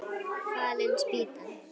Fallin spýtan!